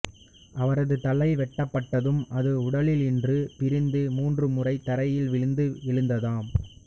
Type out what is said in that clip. அவரது தலை வெட்டப்பட்டதும் அது உடலினின்று பிரிந்து மூன்று முறை தரையில் விழுந்து எழுந்ததாம்